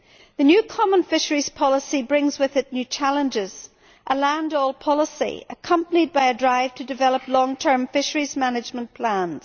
The new common fisheries policy brings with it new challenges a land all policy accompanied by a drive to develop long term fisheries management plans.